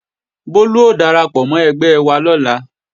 Bólú ó darapọ̀ mọ́ ẹgbẹ́ wa lọ́la